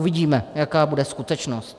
Uvidíme, jaká bude skutečnost.